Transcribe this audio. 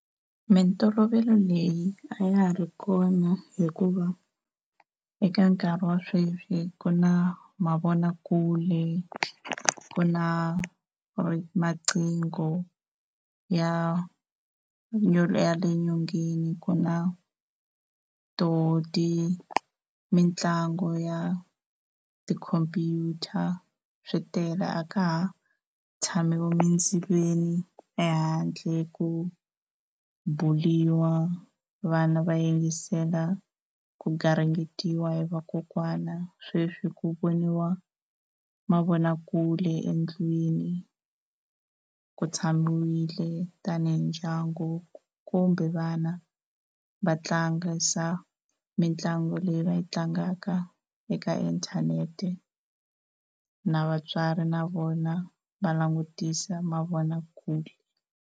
Mintolovelo leyi a ya ha ri kona hikuva eka nkarhi wa sweswi ku na mavonakule, ku na maqingho ya le nyongeni ku na to ti mitlangu ya tikhomphyuta swi tele a ka ha tshamiwi emindzilweni ehandle ku ku buliwa, vana va yingisela ku garingetiwa hi vakokwana sweswi ku voniwa mavonakule endlwini ku tshamiwile tani hi ndyangu kumbe vana va tlangisa mitlangu leyi va yi tlangaka eka inthanete na vatswari na vona va langutisa mavonakule.